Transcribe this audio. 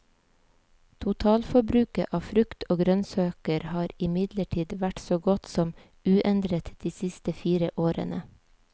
Totalforbruket av frukt og grønnsaker har imidlertid vært så godt som uendret de siste fire årene.